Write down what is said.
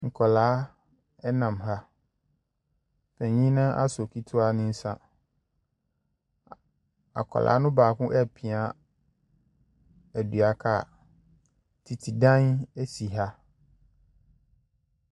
Nkwadaa, ɛna mmaa. Panin no asɔ ketewa no nsa. A akwadaa no baako apia dua car. Tete dan si ha.